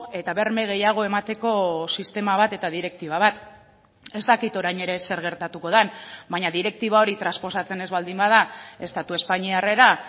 eta berme gehiago emateko sistema bat eta direktiba bat ez dakit orain ere zer gertatuko den baina direktiba hori transposatzen ez baldin bada estatu espainiarrera